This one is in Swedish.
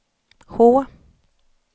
H